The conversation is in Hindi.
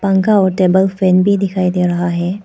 पंखा और टेबल फैन भी दिखाई दे रहा है।